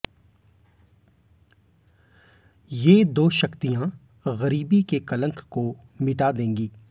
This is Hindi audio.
ये दो शक्तियां गरीबी के कलंक को मिटा देंगी